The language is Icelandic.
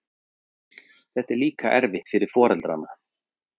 foreldri hans voru jón hreppst